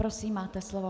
Prosím, máte slovo.